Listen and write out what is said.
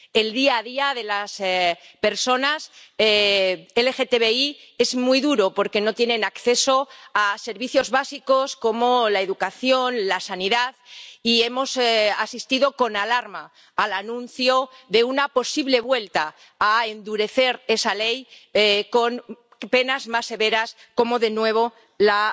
El día a día de las personas LGTBI es muy duro porque no tienen acceso a servicios básicos como la educación o la sanidad, y hemos asistido con alarma al anuncio de una posible vuelta a endurecer esa ley con penas más severas como de nuevo la